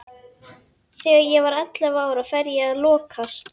Þegar ég var ellefu ára fer ég að lokast.